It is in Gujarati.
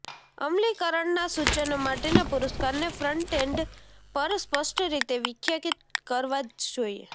અમલીકરણના સૂચનો માટેના પુરસ્કારને ફ્રન્ટ એન્ડ પર સ્પષ્ટ રીતે વ્યાખ્યાયિત કરવા જ જોઇએ